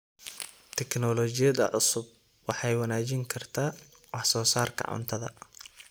Tignoolajiyada cusubi waxay wanaajin kartaa wax soo saarka cuntada.